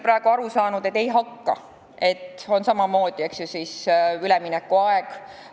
Mina olen aru saanud, et neil on praegu samamoodi üleminekuaeg.